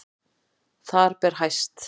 Þar ber hæst